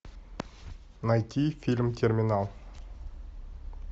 найти фильм терминал